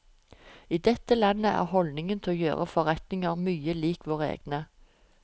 I dette landet er holdningen til å gjøre forretninger mye lik våre egne.